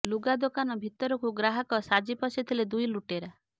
ଲୁଗା ଦୋକାନ ଭିତରକୁ ଗ୍ରାହକ ସାଜି ପଶିଥିଲେ ଦୁଇ ଲୁଟେରା